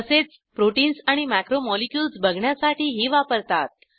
तसेच प्रोटीन्स आणि मॅक्रोमोलिक्युल्स बघण्यासाठीही वापरतात